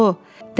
Alo?